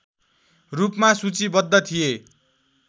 रूपमा सूचीबद्ध थिए